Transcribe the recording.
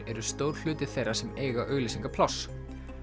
eru stór hluti þeirra sem eiga auglýsingapláss